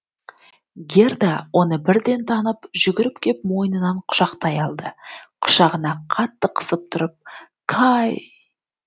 герда оны бірден танып жүгіріп кеп мойнынан құшақтай алды құшағына қатты қысып тұрып кай